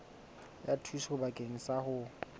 ya thuso bakeng sa ho